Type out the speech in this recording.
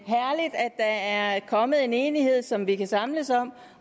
der er kommet en enighed som vi kan samles om